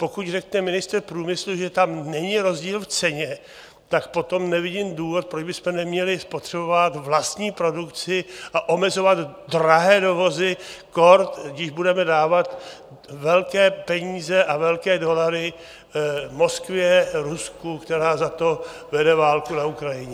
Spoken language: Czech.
Pokud řekne ministr průmyslu, že tam není rozdíl v ceně, tak potom nevidím důvod, proč bychom neměli spotřebovávat vlastní produkci a omezovat drahé dovozy, kór když budeme dávat velké peníze a velké dolary Moskvě, Rusku, která za to vede válku na Ukrajině.